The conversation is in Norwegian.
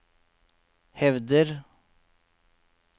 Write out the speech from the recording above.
hevder